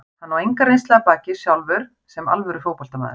Hann á enga reynslu að baki sjálfur sem alvöru fótboltamaður.